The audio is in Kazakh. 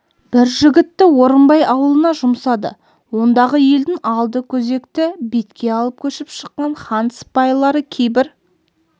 бір жігітті орынбай ауылына жұмсады ондағы елдің алды көкөзекті бетке алып көшіп шыққан хан сыпайылары кейбір